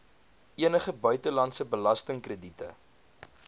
enige buitelandse belastingkrediete